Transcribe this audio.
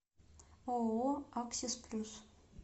ооо аксис плюс